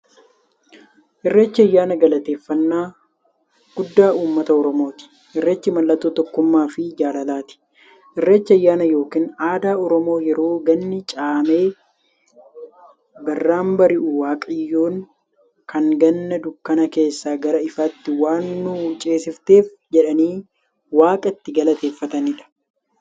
Irreechi ayyaana galateeffnnaa guddaa ummata oromooti. Irreechi mallattoo tokkummaafi jaalalaati. Irreechi ayyaana yookiin aadaa Oromoo yeroo ganni caamee birraan bari'u, waaqayyoon kan Ganna dukkana keessaa gara ifaatti waan nu ceesifteef jedhanii waaqa itti galateeffataniidha.